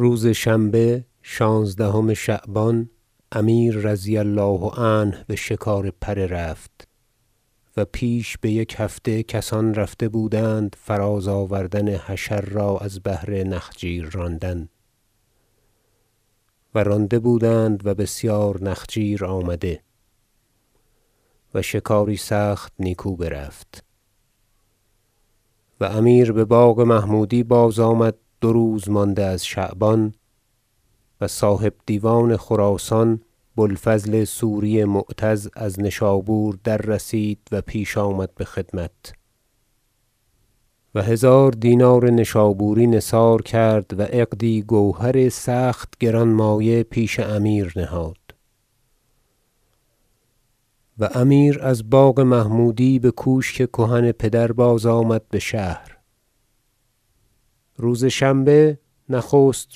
روز شنبه شانزدهم شعبان امیر رضی الله عنه بشکار پره رفت و پیش بیک هفته کسان رفته بودند فراز آوردن حشر را از بهر نخجیر راندن و رانده بودند و بسیار نخجیر آمده و شکاری سخت نیکو برفت و امیر بباغ محمودی بازآمد دو روز مانده از شعبان و صاحب دیوان خراسان بوالفضل سوری معتز از نشابور در رسید و پیش آمد بخدمت و هزار دینار نشابوری نثار کرد و عقدی گوهر سخت گرانمایه پیش امیر نهاد و امیر از باغ محمودی بکوشک کهن پدر بازآمد بشهر روز شنبه نخست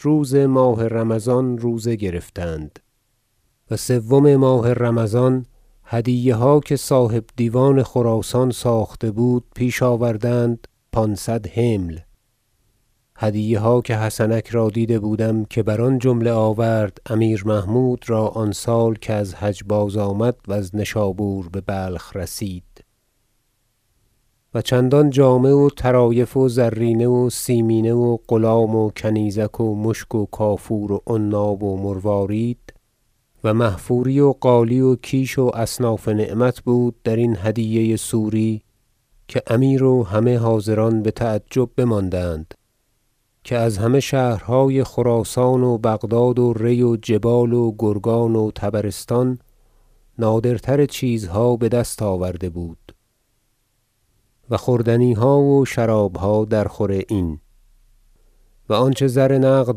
روز ماه رمضان روزه گرفتند و سوم ماه رمضان هدیه ها که صاحب دیوان خراسان ساخته بود پیش آوردند پانصد حمل هدیه ها که حسنک را دیده بودم که بر آن جمله آورد امیر محمود را آن سال کز حج بازآمد وز نشابور ببلخ رسید و چندان جامه و طرایف و زرینه و سیمینه و غلام و کنیزک و مشک و کافور و عناب و مروارید و محفوری و قالی و کیش و اصناف نعمت بود درین هدیه سوری که امیر و همه حاضران بتعجب بماندند که از همه شهرهای خراسان و بغداد و ری و جبال و گرگان و طبرستان نادرتر چیزها بدست آورده بود و خوردنیها و شرابها درخور این و آنچه زر نقد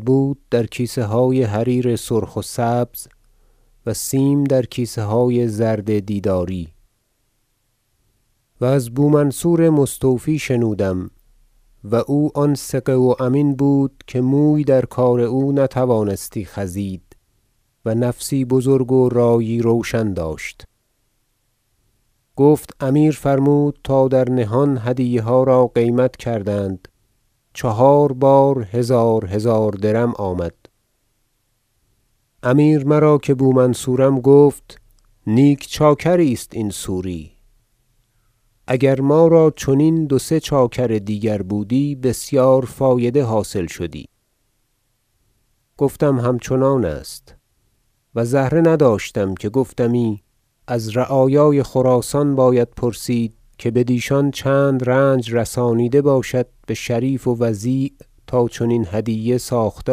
بود در کیسه های حریر سرخ و سبز و سیم در کیسه های زرد دیداری و ز بومنصور مستوفی شنودم و او آن ثقه و امین بود که موی در کار او نتوانستی خزید و نفسی بزرگ و رایی روشن داشت گفت امیر فرمود تا در نهان هدیه ها را قیمت کردند چهار بار هزار هزار درم آمد امیر مرا که بومنصورم گفت نیک چاکری است این سوری اگر ما را چنین دو سه چاکر دیگر بودی بسیار فایده حاصل شدی گفتم همچنان است و زهره نداشتم که گفتمی از رعایای خراسان باید پرسید که بدیشان چند رنج رسانیده باشد بشریف و وضیع تا چنین هدیه ساخته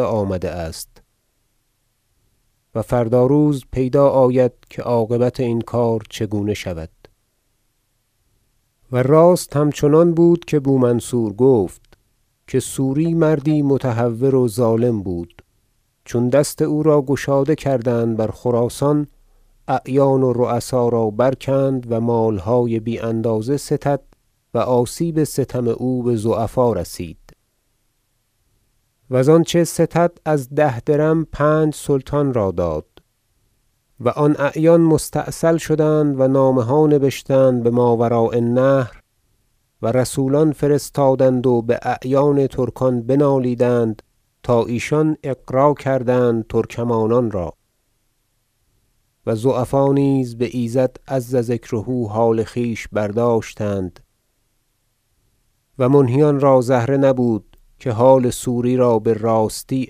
آمده است و فردا روز پیدا آید که عاقبت این کار چگونه شود و راست همچنان بود که بومنصور گفت که سوری مردی متهور و ظالم بود چون دست او را گشاده کردند بر خراسان اعیان و رؤسا را برکند و مالهای بی اندازه ستد و آسیب ستم او بضعفا رسید وز آنچه ستد از ده درم پنج سلطان را داد و آن اعیان مستأصل شدند و نامه ها نبشتند بماوراء النهر و رسولان فرستادند و باعیان ترکان بنالیدند تا ایشان اغرا کردند ترکمانان را و ضعفا نیز بایزد عز ذکره حال خویش برداشتند و منهیان را زهره نبود که حال سوری را براستی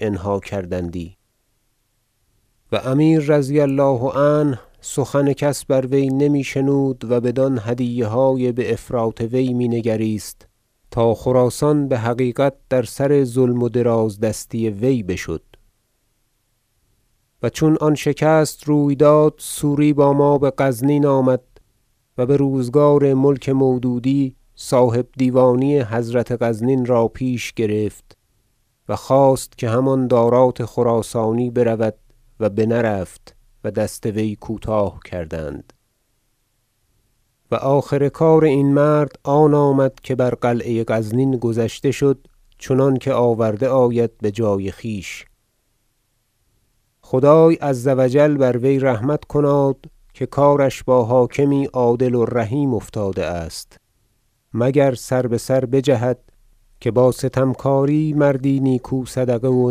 انها کردندی و امیر رضی الله عنه سخن کس بر وی نمی شنود و بدان هدیه های بافراط وی مینگریست تا خراسان بحقیقت در سر ظلم و درازدستی وی بشد و چون آن شکست روی داد سوری با ما بغزنین آمد و بروزگار ملک مودودی صاحبدیوانی حضرت غزنین را پیش گرفت و خواست که همان دارات خراسانی برود و بنرفت و دست وی کوتاه کردند و آخر کار این مرد آن آمد که بر قلعه غزنین گذشته شد چنانکه آورده آید بجای خویش خدای عز و جل بر وی رحمت کناد که کارش با حاکمی عدل و رحیم افتاده است مگر سر بسر بجهد که با ستمکاری مردی نیکو صدقه و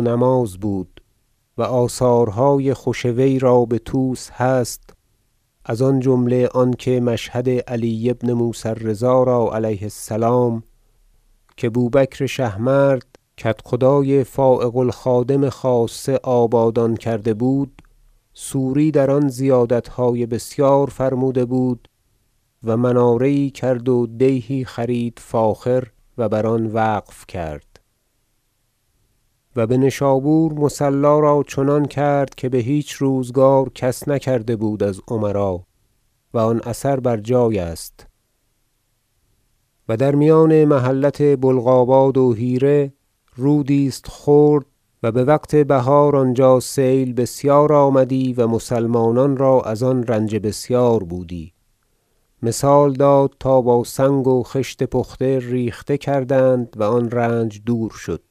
نماز بود و آثارهای خوش وی را بطوس هست از آنجمله آنکه مشهد علی بن موسی الرضا را علیه السلام که بوبکر شهمرد کدخدای فایق الخادم خاصه آبادان کرده بود سوری در آن زیادتهای بسیار فرموده بود و مناره یی کرد ودیهی خرید فاخر و بر آن وقف کرد و بنشابور مصلی را چنان کرد که بهیچ روزگار کس نکرده بود از امرا و آن اثر بر جای است و در میان محلت بلقاباد و حیره رودی است خرد و بوقت بهار آنجا سیل بسیار آمدی و مسلمانان را از آن رنج بسیار بودی مثال داد تا با سنگ و خشت پخته ریخته کردند و آن رنج دور شد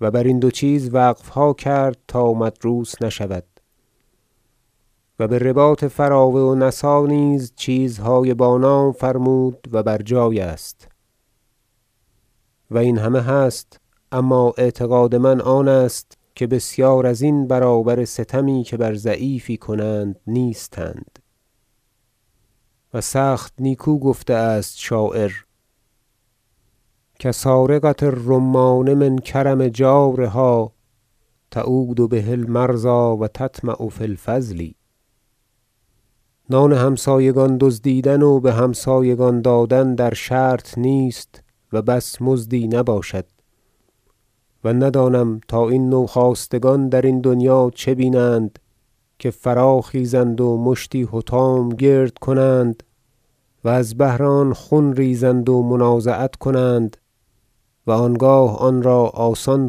و برین دو چیز وقفها کرد تا مدروس نشود و برباط فراوه و نسا نیز چیزهای با نام فرمود و بر جای است و این همه هست اما اعتقاد من همه آنست که بسیار ازین برابر ستمی که بر ضعیفی کنند نیستند و سخت نیکو گفته است شاعر شعر کسارقة الرمان من کرم جارها تعود به المرضی و تطمع فی الفضل نان همسایگان دزدیدن و بهمسایگان دادن در شرط نیست و بس مزدی نباشد و ندانم تا این نوخاستگان درین دنیا چه بینند که فراخیزند و مشتی حطام گرد کنند وز بهر آن خون ریزند و منازعت کنند و آنگاه آنرا آسان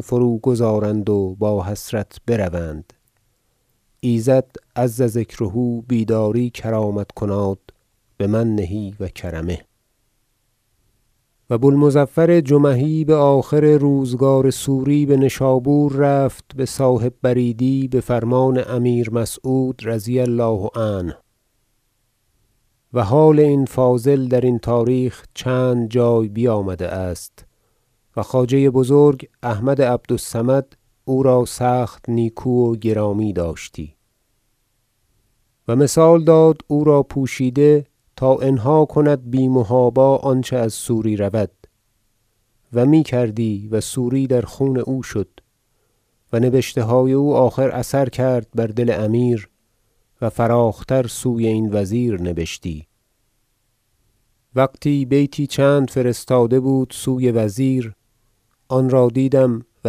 فروگذارند و با حسرت بروند ایزد عز ذکره بیداری کرامت کناد بمنه و کرمه و بو المظفر جمحی بآخر روزگار سوری بنشابور رفت بصاحب بریدی بفرمان امیر مسعود رضی الله عنه- و حال این فاضل درین تاریخ چند جای بیامده است و خواجه بزرگ احمد عبد الصمد او را سخت نیکو و گرامی داشتی- و مثال داد او را پوشیده تا انها کند بی محابا آنچه از سوری رود و میکردی و سوری در خون او شد و نبشته های او آخر اثر کرد بر دل امیر و فراخ تر سوی این وزیر نبشتی وقتی بیتی چند فرستاده بود سوی وزیر آن را دیدم و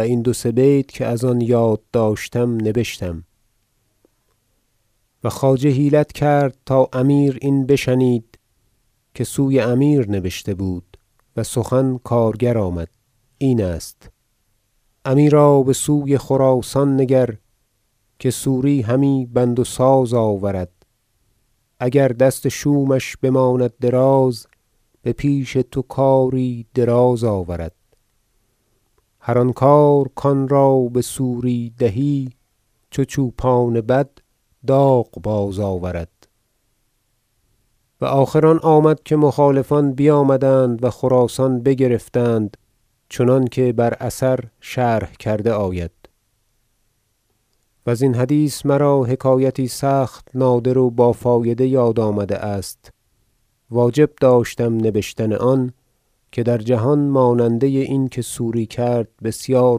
این دو سه بیت که از آن یاد داشتم نبشتم و خواجه حیلت کرد تا امیر این بشنید که سوی امیر نبشته بود و سخن کارگر آمد این است شعر امیرا بسوی خراسان نگر که سوری همی بند و ساز آورد اگر دست شومش بماند دراز به پیش تو کاری دراز آورد هر آن کار کانرا بسوری دهی چو چوپان بدداغ بازآورد و آخر آن آمد که مخالفان بیامدند و خراسان بگرفتند چنانکه بر اثر شرح کرده آید و ازین حدیث مرا حکایتی سخت نادر و بافایده یاد آمده است واجب داشتم نبشتن آن که در جهان ماننده این که سوری کرد بسیار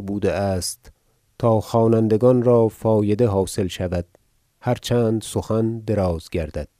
بوده است تا خوانندگان را فایده حاصل شود هر چند سخن دراز گردد